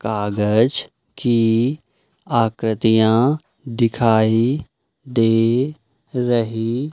कागज की आकृतियां दिखाई दे रही--